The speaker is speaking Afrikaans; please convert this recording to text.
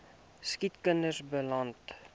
siek kinders beland